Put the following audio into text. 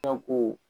ko